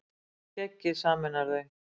Skeggið sameinar þau